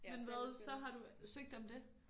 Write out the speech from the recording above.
Men hvad så har du søgt om det